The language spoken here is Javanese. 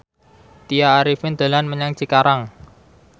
Tya Arifin dolan menyang Cikarang